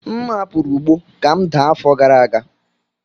M hapụrụ ugbo ka m daa afọ gara aga.